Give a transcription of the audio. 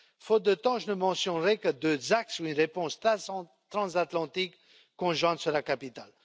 Faute de temps, je ne mentionnerai que deux axes pour lesquels une réponse transatlantique conjointe sera capitale.